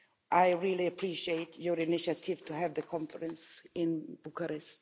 I really appreciate your initiative to have the conference in Bucharest.